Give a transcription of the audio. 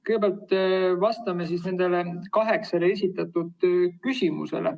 Kõigepealt vastan nendele kaheksale esitatud küsimusele.